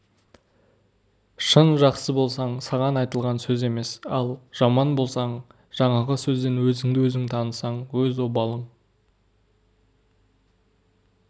шын жақсы болсаң саған айтылған сөз емес ал жаман болсаң жаңағы сөзден өзіңді-өзің танысаң өз обалың